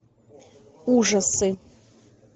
ужасы